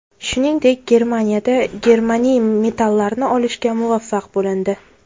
Shuningdek, Germaniyada germaniy metallini olishga muvaffaq bo‘lindi.